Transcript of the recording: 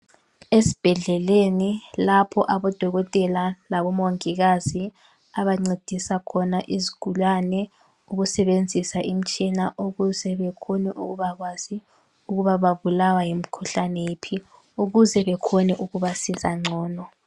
Esibhedleleni lapho odokotela labomongikazi abancedisa khona izigulane ukusebenzisa imtshina ukuze bekhone ukubakwazi ukuba babulawa yimkhuhlane yiphi ukuze bekhone ukubasiza ngcono.